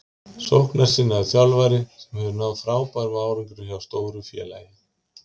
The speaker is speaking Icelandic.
Sóknarsinnaður þjálfari sem hefur náð frábærum árangri hjá stóru félagi.